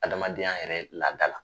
Adamadenya yɛrɛ laada la